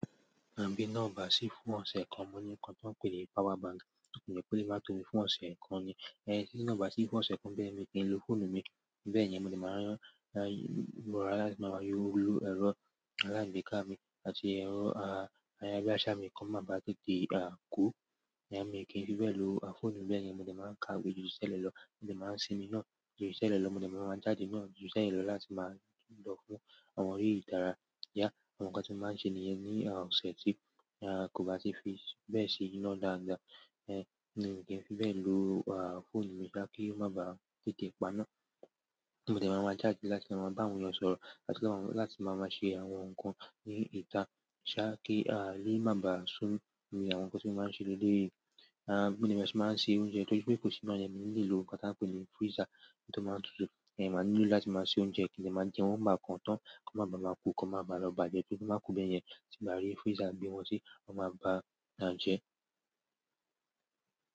Àbí iná ọba ṣí fún ọ̀sẹ̀ kan. Mo ní nǹkan tó ń pè ní power bank, mo ní kí ó lè má tó mi fún ọ̀sẹ̀ kan ni. Ehn tí iná kò bá ṣí fún ọ̀sẹ̀ kan, báyẹn ni mi kì í lo fóònù mi. Báyẹn, mo dẹ̀ máa rán, a, mo rà láńtì, máa yó ẹ̀rọ alágbéká mi àti ẹ̀rọ, a, ayárabíàṣá mi kó máa ba à tètè, a, kú. Ẹ̀yin à mi kí n fi bẹ́ẹ̀ lo, a, fóònù mi báyẹn. Mo dẹ̀ máa kàwé ju ti tẹ́lẹ̀ lọ, mo dẹ̀ máa sinmi iná ju ti tẹ́lẹ̀ lọ, mo dẹ̀ máa máa jáde náà ju ti tẹ́lẹ̀ lọ láti máa lọ fún àwọn eré ìdárayá ya, àwọn nǹkan tí wọ́n máa ń ṣe níyẹn ní, a, ọ̀sẹ̀ tí, a, kò bá sí fìsì. Bẹ́ẹ̀ sì iná dáadáa. Ẹ̀hn mi kì í fi bẹ́ẹ̀ lo, a, fóònù mi ṣá kí ó má ba tètè paná. Mo dẹ̀ máa máa jáde láti máa bá àwọn ènìyàn sọ̀rọ̀ àti láti máa máa ṣe àwọn nǹkan ní ìta ṣá kí, a, ilé má ba sún ni àwọn nǹkan tí wọ́n máa ń ṣe léyìí. A, mo dẹ̀ máa sì máa ń ṣe oúnjẹ torí pé kò sí máa yẹn nílé ohun kan tí à ń pè ní freezer tí ó máa ń tutù. Ẹ̀hn màá nílò láti máa ṣe oúnjẹ kí n lè máa jẹ wọn bá kan tán, kí wọ́n má ba máa kú, kí wọ́n má ba lọ bàjẹ́ kí ó má kú bẹ́ yẹn. Tí n bá rí freezer gbé wọn sí, wón máa bàjẹ́.